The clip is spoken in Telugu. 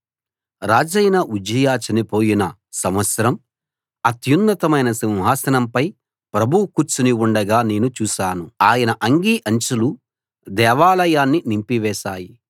రాజైన ఉజ్జియా చనిపోయిన సంవత్సరం అత్యున్నతమైన సింహాసనంపై ప్రభువు కూర్చుని ఉండగా నేను చూశాను ఆయన అంగీ అంచులు దేవాలయాన్ని నింపివేశాయి